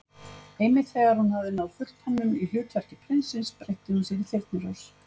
Einmitt þegar hún hafði náð fullkomnun í hlutverki prinsins breytti hún sér í Þyrnirós.